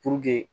Puruke